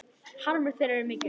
Harmur þeirra er mikill.